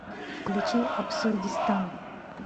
включи абсурдистан